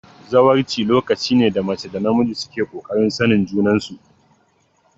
Zawarci lokaci ne da mace da namiji suke kokarin sanin junan su